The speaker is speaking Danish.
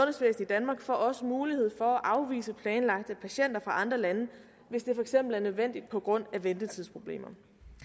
i danmark får også mulighed for at afvise planlagte patienter fra andre lande hvis det for eksempel er nødvendigt på grund af ventetidsproblemer